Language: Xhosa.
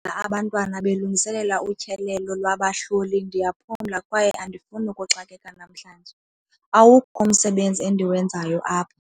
Abantwana belungiselela utyelelo lwabahloli. Ndiyaphumla kwaye andifuni ukuxakeka namhlanje, awukho umsebenzi endiwenzayo apha.